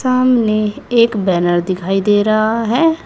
सामने एक बैनर दिखाई दे रहा है।